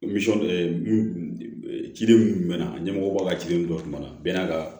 ciden mun mɛnna ɲɛmɔgɔ ka cidenw dɔw tun bɛ na bɛn n'a ka